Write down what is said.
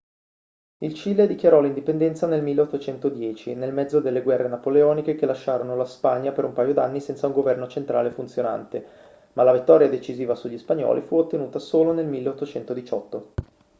il cile dichiarò l'indipendenza nel 1810 nel mezzo delle guerre napoleoniche che lasciarono la spagna per un paio d'anni senza un governo centrale funzionante ma la vittoria decisiva sugli spagnoli fu ottenuta solo nel 1818